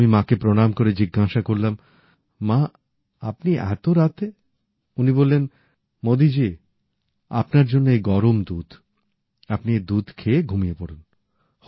আমি মাকে প্রণাম করে জিজ্ঞাসা করলাম মা আপনি এত রাতে উনি বললেন মোদিজি আপনার জন্য এই গরম দুধ আপনি এই দুধ খেয়ে ঘুমিয়ে পড়ুন